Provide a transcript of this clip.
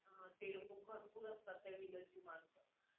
अं ते लोकं भरपूर असतात त्या villian ची माणसं